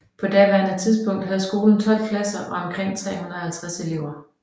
På daværende tidspunkt havde skolen 12 klasser og omkring 350 elever